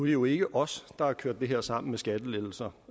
jo ikke os der har kørt det her sammen med skattelettelser